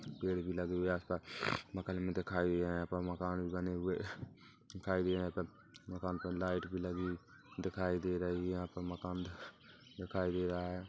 पेड़ भी लगे हुए आस- पास मकान भी दिखाए हुए यहाँ मकान भी बने हुए दिखाई दे रही यहाँ पर मकान पर लाइट लगी दिखाई दे रही है यहाँ पर मकान दिखाई दे रहा है।